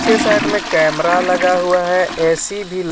पीछे साइड मे कैमरा लगा हुआ हे ऐ_सी भी --